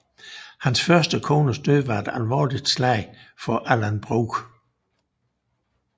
Hans første kones død var et alvorligt slag for Alan Brooke